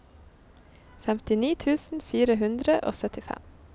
femtini tusen fire hundre og syttifem